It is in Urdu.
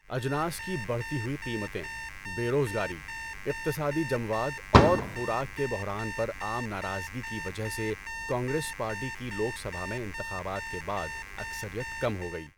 اجناس کی بڑھتی ہوئی قیمتیں، بے روزگاری، اقتصادی جمود اور خوراک کے بحران پر عام ناراضگی کی وجہ سے کانگریس پارٹی کی لوک سبھا میں انتخابات کے بعد اکثریت کم ہو گئی۔